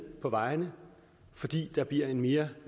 på vejene fordi der bliver en mere